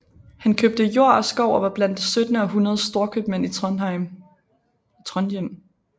Han købte jord og skov og var blandt det syttende århundredes storkøbmænd i Trondhjem